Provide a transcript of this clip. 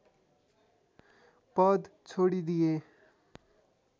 पद छोडिदिए